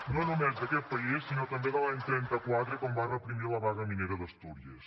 no només d’aquest país sinó també de l’any trenta quatre quan va reprimir la vaga minera d’astúries